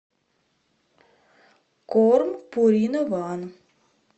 корм пурина ван